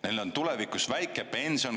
Neil on tulevikus väike pension.